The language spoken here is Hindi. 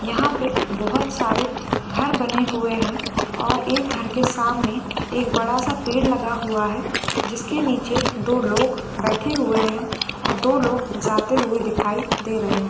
यहाँ पे बोहोत सारे घर बने हुए हैं और एक घर के सामने एक बड़ा-सा पेड़ लगा हुआ है जिसके नीचे दो लोग बैठे हुए हैं और दो लोग जाते हुए दिखाई दे रहे हैं।